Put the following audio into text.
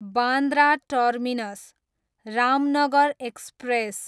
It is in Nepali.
Bandra terminus, Ramnagar express